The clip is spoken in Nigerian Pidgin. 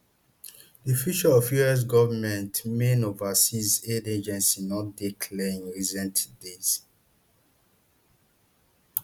di future of us government main overseas aid agency no dey clear in recent days